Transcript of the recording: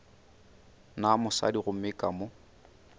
na mosadi gomme ka mo